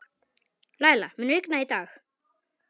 Læla, mun rigna í dag?